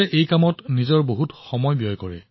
চন্দ্ৰকিশোৰজীয়ে তেওঁৰ অধিকাংশ সময় এই কামত অতিবাহিত কৰে